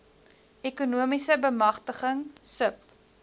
ekonomiese bemagtiging sub